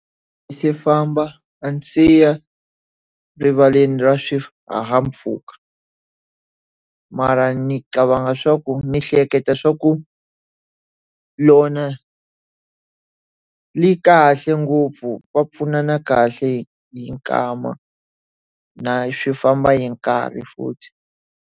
A ndzi si famba a ndzi si ya erivaleni ra swihahampfhuka. Mara ndzi cabanga swa ku ndzi hleketa swa ku rona ri kahle ngopfu, va pfunana kahle yi nkama. Na swi famba hi nkarhi futhi.